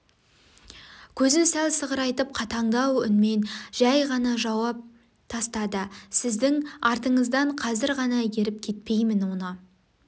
көзін сәл сығырайтып қатандау үнмен жай ғана жауап тастады сіздің артыңыздан қазір ғана еріп кетпеймін оны